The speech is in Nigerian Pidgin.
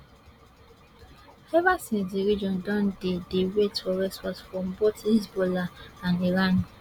ever since di region don dey dey wait for response from both hezbollah and iran